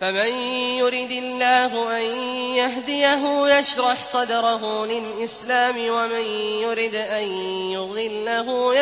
فَمَن يُرِدِ اللَّهُ أَن يَهْدِيَهُ يَشْرَحْ صَدْرَهُ لِلْإِسْلَامِ ۖ وَمَن يُرِدْ أَن يُضِلَّهُ